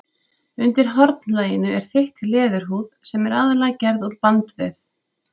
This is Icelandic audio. Undir hornlaginu er þykk leðurhúð sem er aðallega gerð úr bandvef.